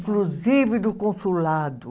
Inclusive do consulado.